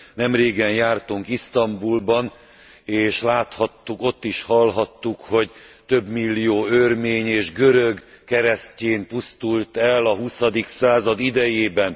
Nemrégen jártunk Isztambulban, és láthattuk ott és hallhattuk, hogy több millió örmény és görög keresztyén pusztult el a huszadik század idejében.